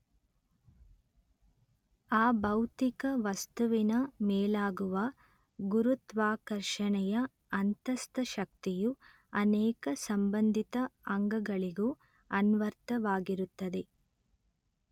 ಆ ಭೌತಿಕ ವಸ್ತುವಿನ ಮೇಲಾಗುವ ಗುರುತ್ವಾಕರ್ಷಣೆಯ ಅಂತಸ್ಥ ಶಕ್ತಿಯು ಅನೇಕ ಸಂಬಂಧಿತ ಅಂಗಗಳಿಗೂ ಅನ್ವರ್ಥವಾಗಿರುತ್ತದೆ